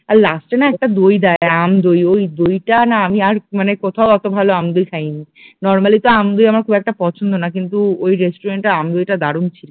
আর last এ না একটা দই দেয় আম দই ওই দইটা না আমি আর মানে কোথাও অত ভালো আম দই খাইনি, নরমালি তো আম দই আমার খুব একটা পছন্দ না কিন্তু ওই রেস্টুরেন্ট টার আম দইটা দারুন ছিল